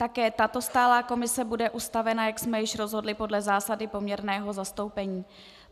Také tato stálá komise bude ustavena, jak jsme již rozhodli, podle zásady poměrného zastoupení.